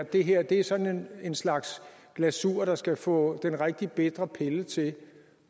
at det her er sådan en slags glasur der skal få den rigtig bitre pille til